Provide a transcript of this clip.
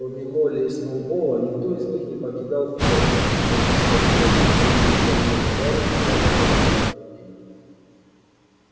кроме молли и сноуболла никто из них не покидал фермы и они не хотели думать что их больной товарищ окажется в руках людей